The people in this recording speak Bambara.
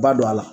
Ba don a la